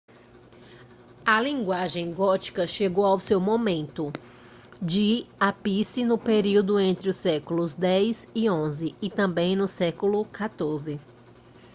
a linguagem gótica chegou ao seu momento de ápice no período entre os séculos 10 e 11 e também no século 14